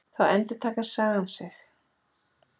Þá endurtekur sagan sig.